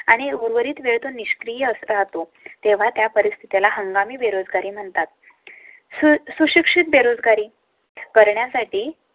आणि उर्वरित वेळ तो निष्क्रिय राहतो तेव्हा त्या परिस्थिती ला हंगामी बेरोजगारी म्हणतात. सुशिक्षित बेरोजगारी करण्यासाठी